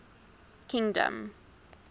kingdom